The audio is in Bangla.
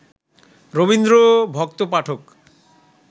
রবীন্দ্রভক্ত পাঠক